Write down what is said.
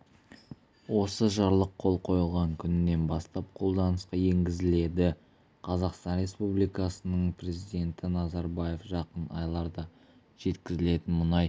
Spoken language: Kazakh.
осы жарлық қол қойылған күнінен бастап қолданысқа енгізіледі қазақстан республикасының президенті назарбаев жақын айларда жеткізілетін мұнай